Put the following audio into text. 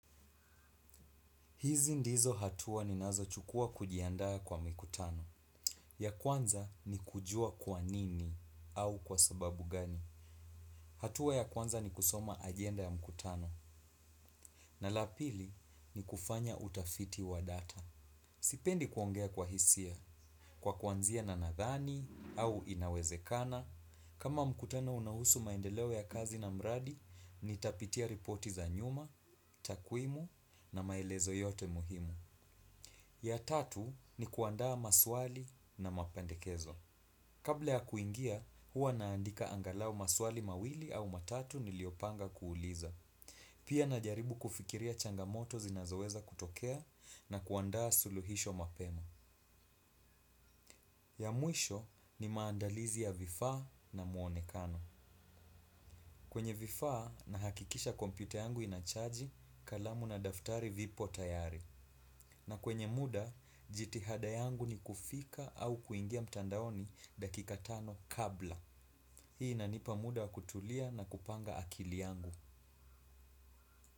Hizi ndizo hatua ninazochukua kujiandaa kwa mikutano. Ya kwanza ni kujua kwa nini au kwa sababu gani. Hatua ya kwanza ni kusoma agenda ya mkutano. Na la pili ni kufanya utafiti wa data. Sipendi kuongea kwa hisia. Kwa kuanzia na nadhani au inawezekana. Kama mkutano unahusu maendeleo ya kazi na mradi, nitapitia ripoti za nyuma, takwimu na maelezo yote muhimu. Ya tatu ni kuandaa maswali na mapendekezo. Kabla ya kuingia, huwa naandika angalau maswali mawili au matatu niliopanga kuuliza. Pia najaribu kufikiria changamoto zinazoweza kutokea na kuandaa suluhisho mapema. Ya mwisho ni maandalizi ya vifaa na muonekano. Kwenye vifaa nahakikisha kompyuta yangu inachaji kalamu na daftari vipo tayari. Na kwenye muda, jitihada yangu ni kufika au kuingia mtandaoni dakika tano kabla. Hii inanipa muda wa kutulia na kupanga akili yangu.